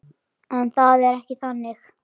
En það er ekki þannig.